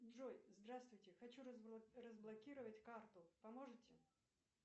джой здравствуйте хочу разблокировать карту поможете